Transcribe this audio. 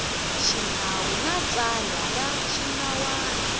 xinawu na tsalwa ra swinawana